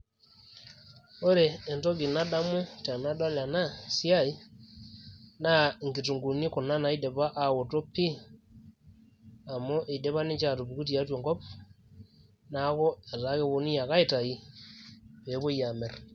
Ore entoki nadamu tenadol ena siai naa nkitunguuni kuna naidipa aaoto pii amu eidipa ninche aatupuku tiatua enkop neeku etaa keponunui ake aitai peepuoi aamirr.